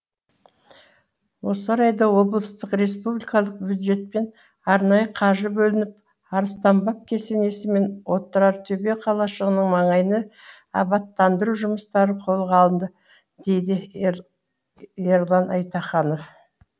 осы орайда облыстық республикалық бюджеттен арнайы қаржы бөлініп арыстанбаб кесенесі мен отырартөбе қалашығының маңайына абаттандыру жұмыстары қолға алынды дейді ерлан айтаханов